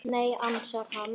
Nei, ansar hann.